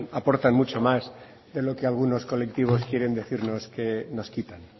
aportan mucho más de lo que algunos colectivos quieren decirnos que nos quitan